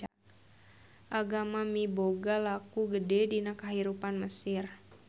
Agama miboga laku gede dina kahirupan di Mesir